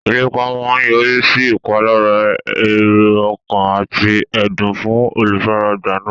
Ìlépa máa yọrí sí ìpalára èrò ọkàn àti ẹ̀dùn fún olùfaragbá náà.